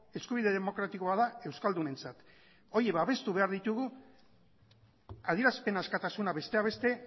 eskubide demokratikoa da euskaldunentzat horiek babestu behar ditugu adierazpen askatasuna besteak beste